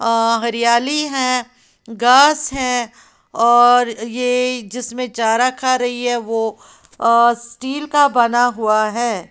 अह हरियाली है घास है और ये जिसमें चारा खा रही है वो अह स्टील का बना हुआ है।